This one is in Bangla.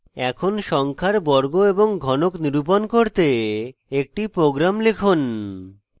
এখন সংখ্যার বর্গ এবং ঘনক নির্ণয় করতে একটি program লিখুন